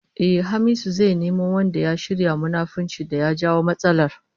Ehh, Hamisu zai nemo wanda ya shirya munafuncin da ya jawo matsalar